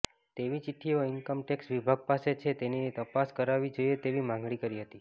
તેવી ચીઠ્ઠીઓ income tax વિભાગ પાસે છે તેની તપાસ કરાવવી જોઇએ તેવી માગણી કરી હતી